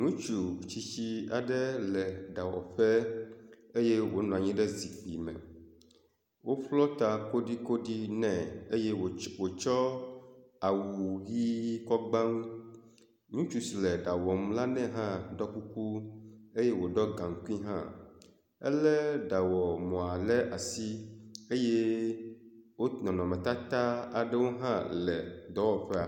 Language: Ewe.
Ŋutsu tsitsi aɖe le ɖawɔƒe eye wonɔ anyi ɖe zikpui me. Woƒlɔ ta kolikoli nɛ eye wots wotsɔ awu ʋi kɔ gba ŋu. Ŋutsu si le ɖa wɔm la nɛ hã ɖɔ kuku eye woɖɔ gaŋkui hã. Ele ɖawɔmɔa ɖe asi eye wo nɔnɔmetata aɖewo hã le dɔwɔƒa.